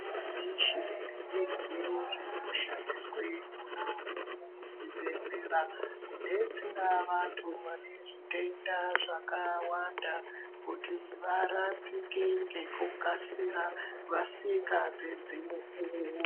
Michini nemidziyo zvinoshandiswe mwona umwomwo muzvibhedhlera kudetsera vantu vane zvitenda zvakawanda kuti varapike ngekukasira vasika pedzi mukuwo.